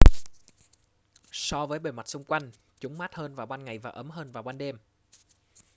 so với bề mặt xung quanh chúng mát hơn vào ban ngày và ấm hơn vào ban đêm